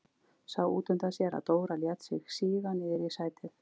Sá útundan sér að Dóra lét sig síga niður í sætið.